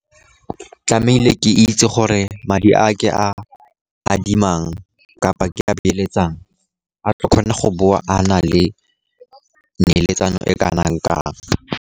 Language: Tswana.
Tlamehile ke itse gore madi a ke a adimang kapa ke a beeletsang, a tlo kgona go boa a na le neeletsano e kana kang.